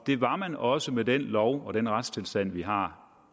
det var man også med den lov og den retstilstand vi har